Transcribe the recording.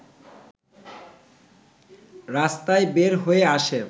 রাস্তায় বের হয়ে আসে